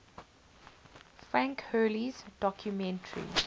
frank hurley's documentary